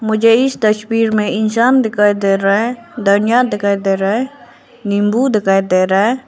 मुझे इस तस्वीर में इंसान दिखाई दे रहा है धनिया दिखाई दे रहा है नींबू दिखाई दे रहा है।